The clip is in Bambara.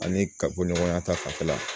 Ani ka bɔ ɲɔgɔnya ta fanfɛla la